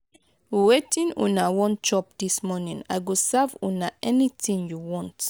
wetin una wan chop dis morning? i go serve una anything you want.